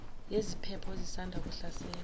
yeziphepho ezisanda kuhlasela